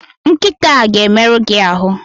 Nkịta a ga-emerụ gi ahụ!